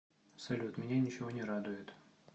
салют меня ничего не радует